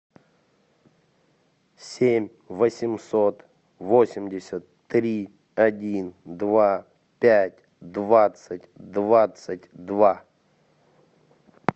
семь восемьсот восемьдесят три один два пять двадцать двадцать два